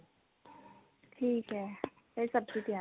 ਠੀਕ ਐ ਫੇਰ ਸਬਜੀ ਤਿਆਰ